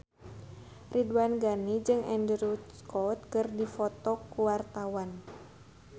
Ridwan Ghani jeung Andrew Scott keur dipoto ku wartawan